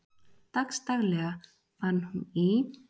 Dagsdaglega vann hún í